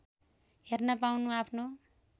हेर्न पाउनु आफ्नो